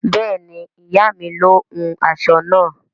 Bẹẹni, iya mi ló hún aṣọ náà